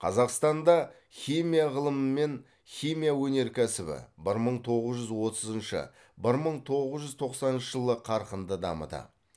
қазақстанда химия ғылымы мен химия өнеркәсібі бір мың тоғыз жүз отызыншы бір мың тоғыз жүз тоқсаныншы жылы қарқынды дамыды